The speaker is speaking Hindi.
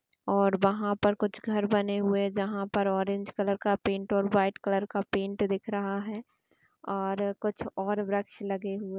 और वहाँ पर कुछ घर बने हुए हैं जहाँ पर ऑरेंज कलर का पेंट और वाईट कलर का पेंट दिख रहा है| और कुछ और वृक्ष लगे हुए --